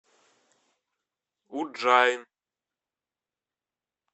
удджайн